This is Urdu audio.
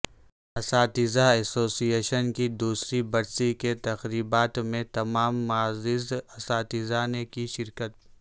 اساتذہ ایسوسی ایشن کی دوسری برسی کی تقریبات میں تمام معزز اساتذہ نےکی شرکت